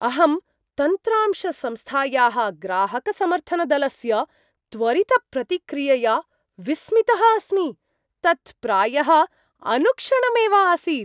अहं तन्त्रांशसंस्थायाः ग्राहकसमर्थनदलस्य त्वरितप्रतिक्रियया विस्मितः अस्मि। तत्प्रायः अनुक्षणमेव आसीत्।